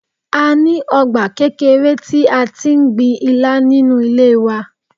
A ní ọgbà kékeré tí a ti ń gbin Ilá nínú ilé wa.